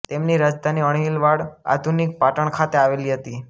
તેમની રાજધાની અણહિલવાડ આધુનિક પાટણ ખાતે આવેલી હતી